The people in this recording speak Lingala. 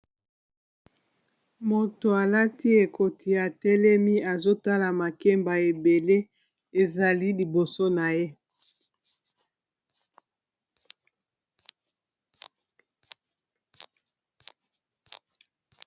Moto alati ekoti ya langi ya mosaka atelemi azotala makemba ebele ezali liboso na ye.